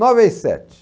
Nove vezes sete.